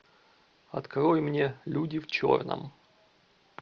открой мне люди в черном